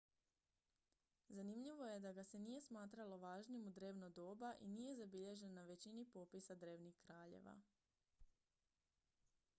zanimljivo je da ga se nije smatralo važnim u drevno doba i nije zabilježen na većini popisa drevnih kraljeva